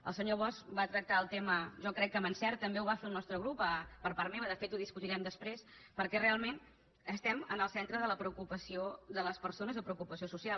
el senyor bosch va tractar el tema jo crec que amb encert també ho va fer el nostre grup per part meva de fet ho discutirem després perquè realment estem en el centre de la preocupació de les persones o preocupació social